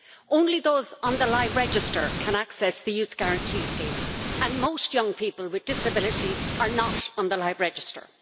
Only those on the live register can access the Youth Guarantee Scheme and most young people with disabilities are not on the live register.